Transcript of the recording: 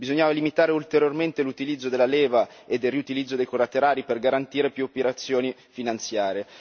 Bisognava limitare ulteriormente l'utilizzo della leva e il riutilizzo dei collaterali per garantire più operazioni finanziarie.